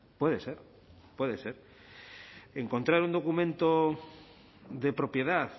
puede ser puede ser encontrar un documento de propiedad